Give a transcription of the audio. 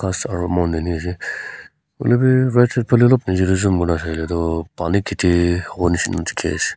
aro mountain hi ase hoilevi right side phale bhi alop nechidae dae he aseho moila saila toh pani kheti hovo neshina dekhey ase.